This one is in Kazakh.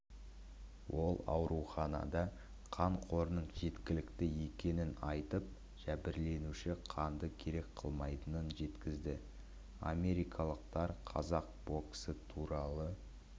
ол ауруханада қан қорының жеткілікті екенін айтып жәбірленуші қанды керек қылмайтынын жеткізді америкалықтар қазақ боксы туралы